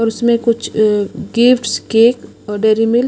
और उसमें कुछ अ गिफ्ट्स केक और डेरीमिल्क --